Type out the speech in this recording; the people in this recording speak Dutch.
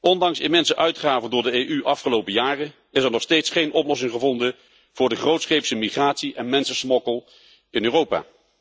Ondanks immense uitgaven door de EU in de afgelopen jaren is er nog steeds geen oplossing gevonden voor de grootscheepse migratie en mensensmokkel in Europa.